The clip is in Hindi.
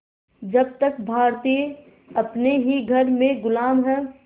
जब तक भारतीय अपने ही घर में ग़ुलाम हैं